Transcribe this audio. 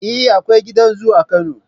Eh, Akwai gidan zoo a Kano